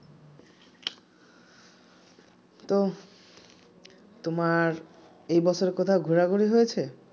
তো তোমার এ বছর কোথাও ঘোরাঘুরি হয়েছে